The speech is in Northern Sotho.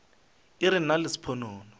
e re nna le sponono